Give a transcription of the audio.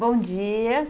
Bom dia